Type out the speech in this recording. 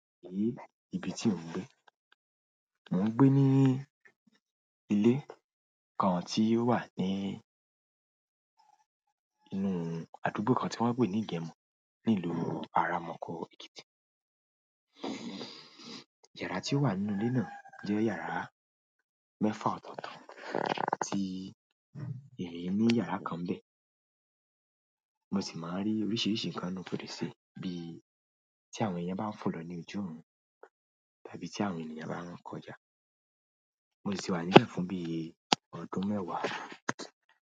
Èéh, ibi tí mò ń gbé. Mò ń gbé ní ilé kan tí ó wà ní inú àdúgbò kan tí wọ́n ń pè ní Igẹmọ ní ìlú ara Mọ́kọ́ Ekiti. Yàrá tí ó wà nínú ilé náà jẹ́ yàrá mẹ́fà ọ̀tọ̀ọ̀tọ̀ tí emi ní yàrá kan bẹ̀. Mo sì máa ń rí oríṣiríṣi nǹkan inú fèrèsé bí tí àwọn ẹyẹ bá ń fò lọ ní ojú ọrun tàbí tí àwọn ènìyàn bá ń kọjá. Mo sì ti wà níbẹ̀ fún bí ọdún mẹ́wàá.